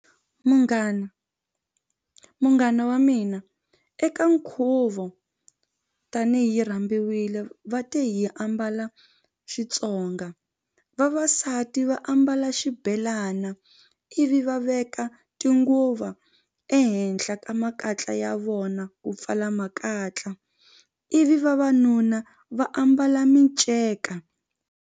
Munghana munghana wa mina eka nkhuvo tanihi rhambiwile va te hi ambala Xitsonga vavasati va ambala ya xibhelana ivi va veka tinguva ehenhla ka makatla ya vona ku pfala makatla ivi vavanuna va ambala minceka.